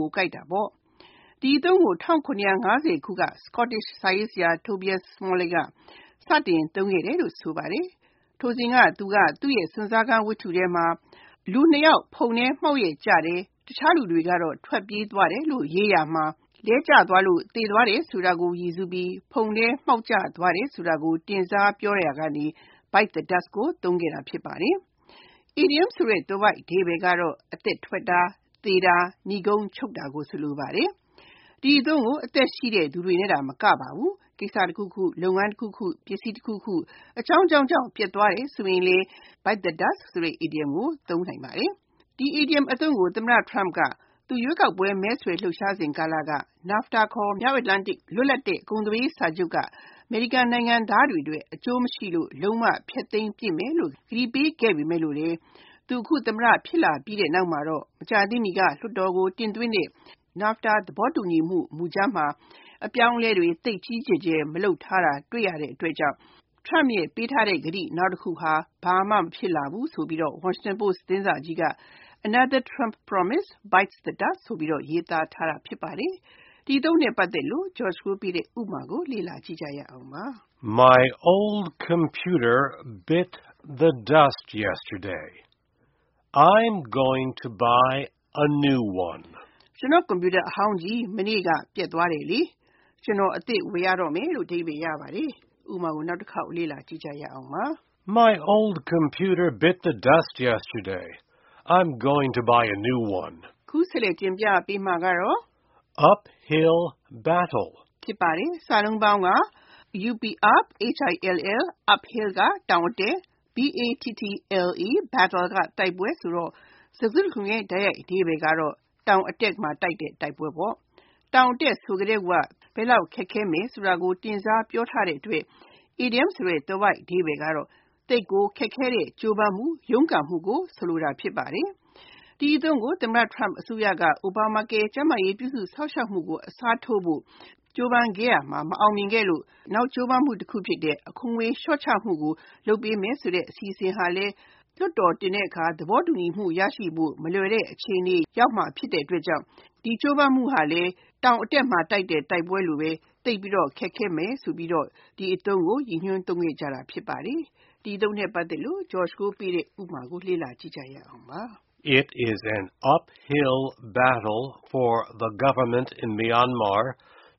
ကိုကိုက်တာဖြစ်ပါတယ်။ ဒီအသုံးကို ၁၇၅၀ ခုက Scottish စာရေးဆရာ Tobias Smollett က စတင်သုံးခဲ့တယ်လို့ ဆိုပါတယ်။ ထိုစဉ်က သူက သူ့ရဲ့ စွန့်စားခန်းဝထ္တုထဲမှာ လူနှစ်ယောက် ဖုန်ထဲမှောက်ရက်ကျတယ်၊ တခြားလူတွေက ထွက်ပြေးသွားတယ်လို့ ရေးရာမှာ လဲကျသွားလို့ သေသွားတယ်ဆိုတာကို ရည်စူးပြီး ဖုန်ထဲမှောက်ကျသွားတယ်ဆိုတာကို တင်စားပြောရာမှာ Bite the dust ကို သုံးခဲ့တာ ဖြစ်ပါတယ်။ အီဒီယံသွယ်ဝိုက်အဓိပ္ပါယ်ကတော့ အသက်ထွက်တာ၊ သေတာ၊ နိဂုံးချုပ်တာ၊ မြန်မာဘန်းစကားမှာတော့ကိစ္စချောတာကို ဆိုလိုပါတယ်။ ဒီအသုံးကို လူတွေနဲ့သာမကပါဘူး ကိစ္စတခုခု၊ လုပ်ငန်းတခုခု၊ ပစ္စည်းတခုခု အကြောင်းကြောင်းကြောင့် ပျက်သွားတယ်ဆိုရင်လဲ Bite the dust အီဒီယံကို သုံးနိုင်ပါတယ်။ ဒီအီဒီယံကို သမ္မတ Trump က သူ ရွေးကောက်ပွဲ မဲဆွယ်လှုပ်ရှားစဉ်ကာလ NAFTA ခေါ် မြောက်အမေရိက လွတ်လပ်တဲ့ ကုန်သွယ်ရေးစာချုပ်က အမေရိကန်နိုင်ငံသားတွေအတွက် အကျိုးမရှိလို့ လုံးဝဖျက်သိမ်းပစ်မယ်လို့ ကတိပေးခဲ့ပေမယ့်လို့လဲ သူ အခု သမ္မတ ဖြစ်လာပြီးနောက်မှာတော့ မကြာသေးမီက လွှတ်တော်ကို တင်သွင်းတဲ့ NAFTA သဘောတူညီမှု မူကြမ်းမှာ အပြောင်းအလဲတွေ သိပ်ကြီးကြီးမားမား လုပ်ထားတာမတွေ့ရတဲ့အတွက် Trump အနေနဲ့သူပေးထားတဲ့ နောက်ကတိတခုလဲ ဘာမှဖြစ်မလာဘူးဆိုပြီး Washington Post သတင်းစာကြီးက “Another Trump promise bites the dust” ဆိုပြီး ရေးသားခဲ့တာဖြစ်ပါတယ်။ ဒီအသုံးအနှုန်း ရဲ့ဥပမာကို လေ့လာကြည့်ရအောင်ပါ။ My old computer bit the dust yesterday. I’m going to buy a new one. ကျနော့် ကွန်ပြူတာအဟောင်းကြီး မနေ့က ပျက်သွားတယ်။ ကျနော် အသစ်တလုံး ဝယ်ရတော့မယ်။ (၂) Uphill battle Uphill (တောင်အတက်)၊ battle (တိုက်ပွဲ) ဖြစ်ပြီး၊ စကားစုတခုလုံးရဲ့ လုံးကောက်အဓိပ္ပါယ်က တောင်အတက်မှာ တိုက်တဲ့တိုက်ပွဲ ဖြစ်ပါတယ်။ တောင်အတက်ဆိုကတည်းက ဘယ်လောက်ခက်ခဲမယ်ဆိုတာကို တင်စားပြောထားတဲ့အတွက် အီဒီယံသွယ်ဝိုက်အဓိပ္ပါယ်က သိပ်ကိုခက်ခဲတဲ့ ကြိုးပမ်းမှု၊ ရုန်းကန်မှုကို ဆိုလိုတာ ဖြစ်ပါတယ်။ ဒီအသုံးကို သမ္မတ Trump အစိုးရက Obamacare ကျန်းမာရေးပြုစုစောင့်ရှောက်မှုကို အစားထိုးဖို့ ကြိုးပမ်းရာမှာ အောင်မြင်မှုမရခဲ့သလို၊ နောက်ကြိုးပမ်းမှုတခုဖြစ်တဲ့ အခွန်ငွေလျှော့ချဖို့လုပ်ပေးမယ်ဆိုတဲ့ အစီအစဉ်ဟာလဲ လွှတ်တော်တင်တဲ့အခါ သဘောတူညီမှု ရနိုင်ဖို့ မလွယ်တဲ့ အခြေအနေ နဲ့တွေ့ကြုံဖို့ရှိတဲ့အတွက် ဒီကြိုးပမ်းမှုဟာလဲ တောင်အတက်မှာတိုက်တဲ့ တိုက်ပွဲလိုပဲ သိပ်ပြီးတော့ ခက်ခဲမယ်ဆိုပြီးတော့ Uphill battle အီဒီယံကို ရည်ညွှန်းသုံးခဲ့ကြတာ ဖြစ်ပါတယ်။ ဒီအသုံးနဲ့ ပတ်သက်တဲ့ ဥပမာကိုလေ့လာကြည့်ရအောင်ပါ။ It’s an uphill battle for the Myanmar government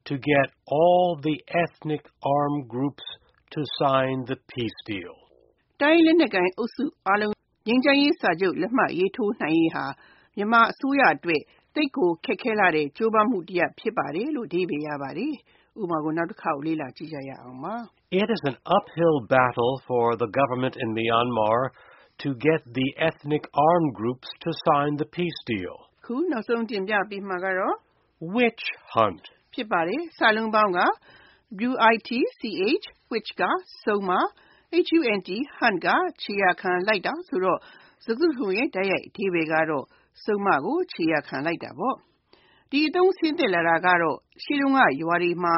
to get all the ethnic armed groups to sign the peace deal. တိုင်းရင်းသားလက်နက်ကိုင်အုပ်စုတွေအားလုံး ငြိမ်းချမ်းရေးစာချုပ် လက်မှတ်ရေးထိုးနိုင်ရေးဟာ မြန်မာအစိုးရအတွက် သိပ်ကိုခက်ခဲလှတဲ့ ကြိုးပမ်းမှုတရပ် ဖြစ်ပါတယ်။ (၃) Witch hunt Witch (စုန်:)၊ Hunt (ခြေရာခံလိုက်တာ) ဆိုတော့ စကားစုတခုလုံးရဲ့ တိုက်ရိုက်အဓိပ္ပါယ်က စုန်းကို ခြေရာခံလိုက်တာ ဖြစ်ပါတယ်။ ဒီအသုံးဆင်းသက်လာတာကတော့ ရှေ့တုန်းက ရွာတွေမှာ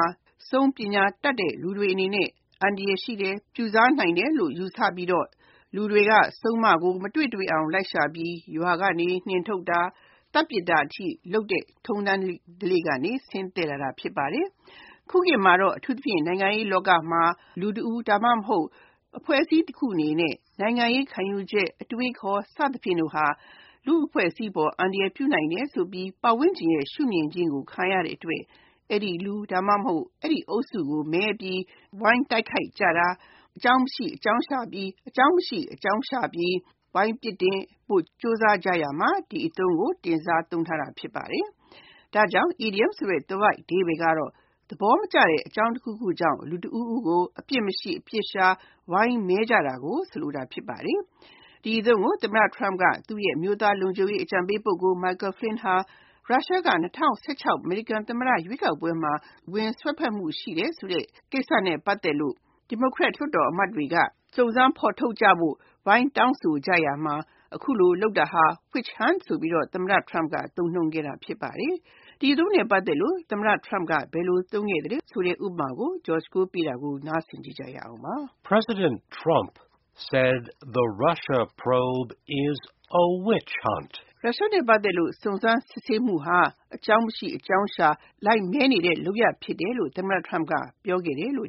စုန်းပညာတတ်တဲ့ လူတွေဟာ အန္တရာယ်ရှိတယ်၊ ပြုစားနိုင်တယ်လို့ ယူဆပြီး လူတွေက စုန်းကို မတွေ့တွေ့အောင် လိုက်ရှာပြီး ရွာကနေ နှင်းထုတ်တာ၊ မီးရှို့သတ်ပြစ်တာအထိ လုပ်တဲ့ အစဉ်အလာကနေ ဆင်းသက်လာတာ ဖြစ်ပါတယ်။ ခုခေတ်မှာတော့ နိုင်ငံရေးလောကမှာ လူတဦး ဒါမှမဟုတ် အဖွဲ့အစည်းတခုရဲ့နိုင်ငံရေး ခံယူချက်၊ အတွေးအခေါ် စသဖြင့်ဟာ လူ့အဖွဲ့အစည်းကို အန္တရာယ်ပြုနိုင်တယ်ဆိုပြီး ပတ်ဝန်းကျင်ရဲ့ ရှုမြင်ခြင်းကို ခံရတဲ့အတွက် အဲဒီလူ ဒါမှမဟုတ် အဲဒီအုပ်စုကို မဲပြီး ဝိုင်းတိုက်ခိုက်ကြတာ၊ အကြောင်းမရှိ အကြောင်းရှာပြီး ဝိုင်းပြစ်တင်ဖို့ ကြိုးစားကြရာမှာ ဒီအသုံးကို တင်စားသုံးထားတာ ဖြစ်ပါတယ်။ ဒါကြောင့် အီဒီယံသွယ်ဝိုက်အဓိပ္ပါယ်က သဘောမကျတဲ့ အကြောင်းတခုခုကြောင့် လူတဦးဦးကို အပြစ်မရှိ၊ အပြစ်ရှာ ဝိုင်းမဲကြတာကို ဆိုလိုတာ ဖြစ်ပါတယ်။ ဒီအသုံးကို သမ္မတ Trump ရဲ့ အမျိုးသားလုံခြုံရေးအကြံပေး ပုဂ္ဂိုလ် Michael Flynn ဟာ ရုရှားက ၂၀၁၆ အမေရိကန်သမ္မတ ရွေးကောက်ပွဲမှာ ဝင်ရောက်စွက်ဖက်မှုရှိတယ်ဆိုတဲ့ ကိစ္စနဲ့ ပတ်သက်လို့ ဒီမိုကရက်လွှတ်တော်အမတ်တွေက စုံစမ်းဖော်ထုတ်ကြဖို့ သဲသဲမဲမဲဝိုင်းတောင်းဆိုကြရာမှာ အခုလို လုပ်တာဟာ Witch hunt ဆိုပြီး သမ္မတ Trump က သုံးနှုန်းခဲ့တာ ဖြစ်ပါတယ်။ ဒီအသုံးနဲ့ ပတ်သက်လို့ သမ္မတ Trump က ဘယ်လိုသုံးခဲ့သလဲ ဥပမာကို လေ့လာကြည့်ရအောင်ပါ။ President Trump said Russia probe is a witch hunt. ရုရှားနဲ့ ပတ်သက်တဲ့ စုံစမ်းစစ်ဆေးမှုဟာ အကြောင်းမရှိ အကြောင်းရှာ ဝိုင်းမဲနေတဲ့ လုပ်ရပ်ဖြစ်တယ်လို့ သမ္မတ Trump ကပြောခဲ့တယ်။ ဒီ